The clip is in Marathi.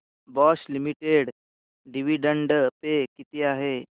बॉश लिमिटेड डिविडंड पे किती आहे